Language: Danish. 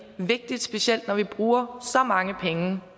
vigtigt specielt når vi bruger så mange penge